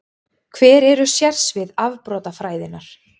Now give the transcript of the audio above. Hver eru sérsvið afbrotafræðinnar?